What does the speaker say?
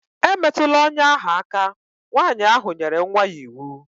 E metụla ọnya ahụ aka!. Nwaanyị ahụ nyere nwa ya iwu